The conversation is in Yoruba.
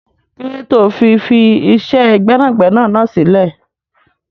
Kílódé tó fi fi iṣẹ́ gbẹ́nàgbẹ́nà náà sílẹ̀?